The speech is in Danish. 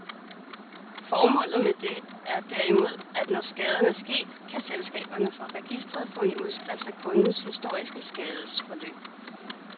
Formålet med det er derimod, at når skaden er sket, kan selskaberne fra registret få en udskrift af kundens historiske skadesforløb.